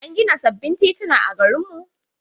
An gina sababbin tituna a garin mu.